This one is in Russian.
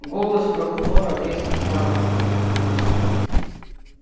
голос прокурора резко стал резким